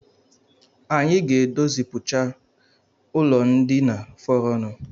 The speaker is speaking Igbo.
Anyi ga-edozichapụ ụlọndina fọrọnụ